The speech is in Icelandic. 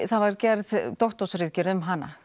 það var gerð doktorsritgerð um hana